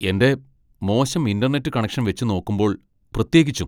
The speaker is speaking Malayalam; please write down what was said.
എൻ്റെ മോശം ഇന്റർനെറ്റ് കണക്ഷൻ വെച്ചുനോക്കുമ്പോൾ പ്രത്യേകിച്ചും.